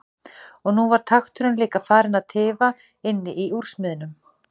Og nú var takturinn líka farinn að tifa inni í úrsmiðnum.